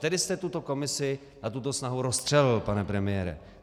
Tedy jste tuto komisi a tuto snahu rozstřelil, pane premiére.